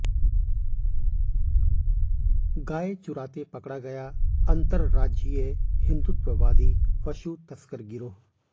गाय चुराते पकड़ा गया अंतर्राज्यीय हिंदुत्ववादी पशु तस्कर गिरोह